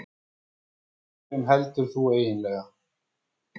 Með hverjum heldur þú eiginlega?